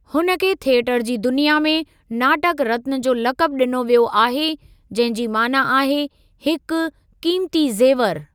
हुन खे थियटर जी दुनिया में नाटक रत्ना जो लक़बु ॾिनो वियो आहे जंहिं जी माना आहे हिक क़ीमती ज़ेवर।